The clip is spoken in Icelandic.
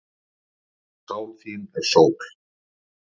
Sál þín er sól.